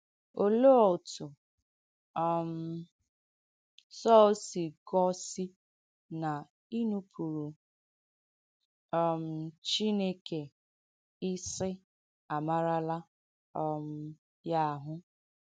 Ọléè òtụ̀ um Sọ̀l sì gọ́sì na ìnùpụ̀rụ̀ um Chineke ìsị àmàràlà um ya àhụ́?